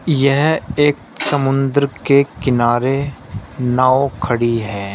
यह एक समुद्र के किनारे नाव खड़ी है।